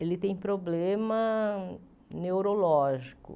ele tem problema neurológico.